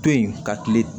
To yen ka kile